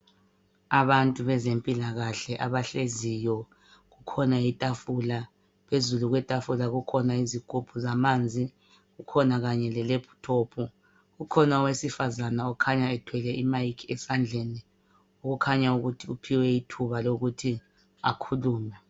Abantu bezempilakahle abahleziyo. Kukhona itafula, phezulu kwetafula kukhona izigubhu zamanzi . Kukhona kanye le lephuthophu. Kukhona owesifazana okhanya ethwele imayikhi esandleni, okukhanya ukuthi uphiwe ithuba elokuthi akhulume .